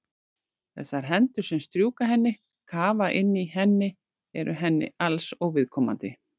Þessar hendur sem strjúka henni, kafa inn í henni eru henni alls óviðkomandi.